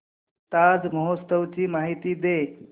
ताज महोत्सव ची माहिती दे